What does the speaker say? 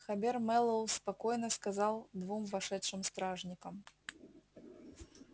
хобер мэллоу спокойно сказал двум вошедшим стражникам